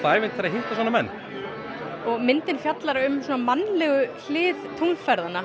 ævintýri að hitta svona menn myndin fjallar um mannlega hlið ferðanna